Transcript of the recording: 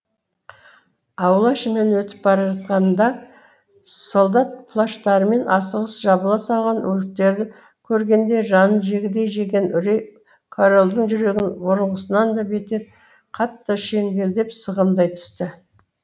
аула ішімен өтіп бара жатқанында солдат плащтарымен асығыс жабыла салған өліктерді көргенінде жанын жегідей жеген үрей корольдің жүрегін бұрынғысынан да бетер қатты шеңгелдеп сығымдай түсті